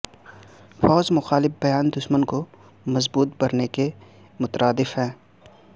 فوج مخالف بیان دشمن کو مضبوط کرنے کے مترادف ہے